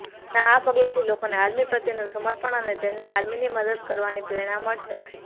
તેના આ પગલાથી લોકોને આર્મી પ્રત્યે તેનું સમર્પણ અને તેમને આર્મીની મદદ કરવાની પ્રેરણા મળશે